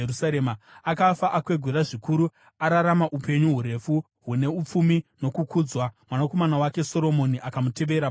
Akafa akwegura zvikuru ararama upenyu hurefu, hune upfumi nokukudzwa. Mwanakomana wake Soromoni akamutevera paumambo.